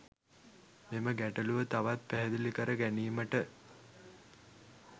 මෙම ගැටලුව තවත් පැහැදිලි කර ගැනීමට